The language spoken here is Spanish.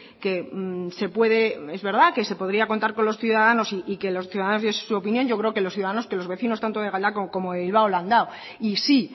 que se puede es verdad que se podría contar con los ciudadanos y que los ciudadanos diesen su opinión yo creo que los ciudadanos que los vecinos tanto de galdakao como de bilbao la han dado y sí